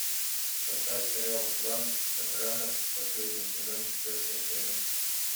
поставь сериал клан сопрано последний сезон четвертая серия